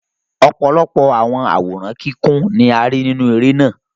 Ọ̀pọ̀lọpọ̀ àwòrán kíkún ni a rí nínú eré náà.